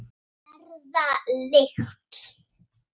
Verða lykt.